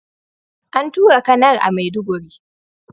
An tura Kanar a maiduguri